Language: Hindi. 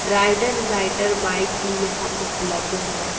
राइडर राइडर बाइक भी यहां उपलब्ध है।